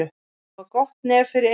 Að hafa gott nef fyrir einhverju